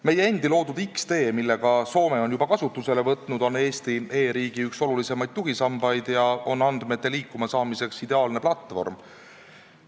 Meie loodud X-tee, mille ka Soome on juba kasutusele võtnud, on Eesti e-riigi olulisimaid tugisambaid, mis on andmete liikuma saamiseks ideaalne platvorm.